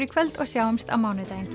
í kvöld og sjáumst á mánudaginn